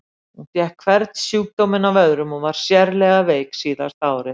Hún fékk hvern sjúkdóminn af öðrum og var sérlega veik síðasta árið.